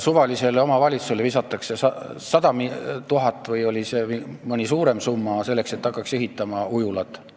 Suvalisele omavalitsusele visatakse 100 000 eurot või oli see ehk suuremgi summa, et hakataks ehitama ujulat.